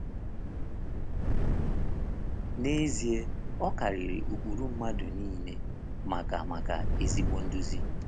N’ezie, ọ karịrị ụkpụrụ mmadụ niile maka maka ezigbo nduzi.